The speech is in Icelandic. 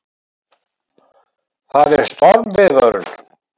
Það er stormviðvörun.